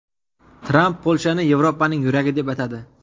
Tramp Polshani Yevropaning yuragi deb atadi.